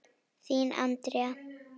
Þín, Andrea.